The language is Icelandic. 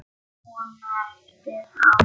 Svona eftir á.